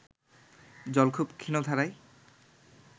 জল খুব ক্ষীণধারায়